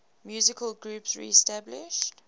musical groups reestablished